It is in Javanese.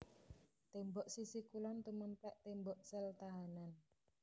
Tembok sisi kulon tumèmplèk tembok sel tahanan